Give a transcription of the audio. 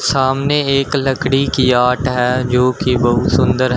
सामने एक लकड़ी की आर्ट है जो कि बहुत सुंदर है।